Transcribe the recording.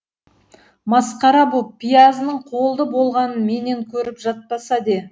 масқара боп пиязының қолды болғанын менен көріп жатпаса де